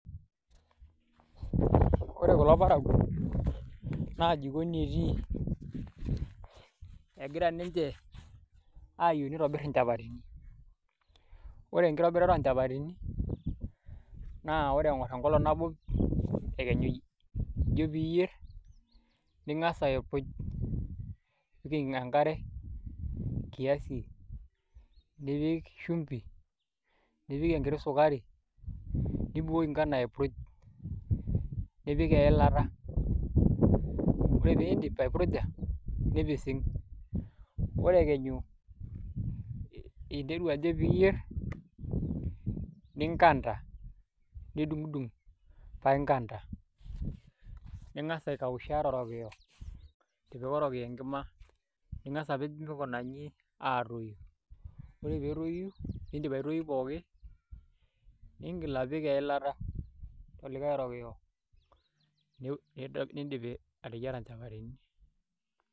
Ore kulo parakuo naa jikoni etii, egira ninje ayeu nitobir nchapatini, ore enkitobirata o nchapatini na ore eng'or enkolong' nabo ekenyu ijo piiyer ning'as aikuj nimpim enkare kiasi nipik shumpi, nipik enkiti sukari, nibukoki ngano aipurj, nipik eilata. Ore piindip aipurja nipising', ore ekenyu interu ajo piiyer ninkanda nidung'dung' pae inkanda, ning'asa aikausha torokiyo itipika orokiyo enkima ning'asa apej mikuna nji aatoyu. Ore peetoyu nindip aitoyu pookin ning'il apik eilata olikai rokiyo niindip ateyiara nchapatini.